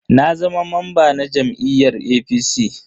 Na zama mamba na jam'iyyar APC.